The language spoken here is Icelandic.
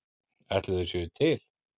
Ætli þau séu til?